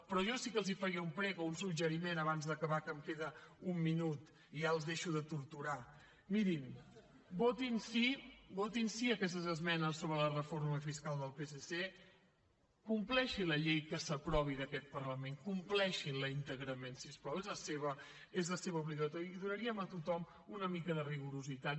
però jo sí que els faria un prec o un suggeriment abans d’acabar que hem queda un minut i ja els deixo de torturar mirin votin sí votin sí a aquestes esmenes sobre la reforma fiscal del psc compleixin la llei que s’aprovi d’aquest parlament compleixin la íntegrament si us plau és la seva obligació i donaríem a tothom una mica de rigorositat